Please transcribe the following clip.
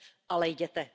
Ale jděte.